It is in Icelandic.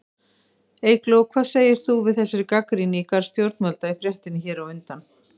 Eygló, hvað segir þú við þessari gagnrýni í garð stjórnvalda í fréttinni hér á undan?